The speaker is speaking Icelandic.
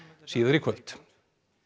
síðar í kvöld